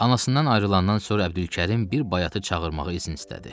Anasından ayrılandan sonra Əbdülkərim bir bayatı çağırmağa izin istədi.